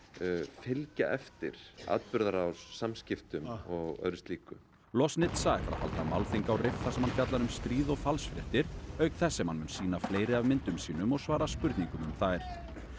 fylgja eftir atburðarrás samskiptum og öðru slíku loznitsa ætlar að halda málþing á þar sem hann fjallar um stríð og falsfréttir auk þess sem hann mun sýna fleiri af myndum sínum og svara spurningum um þær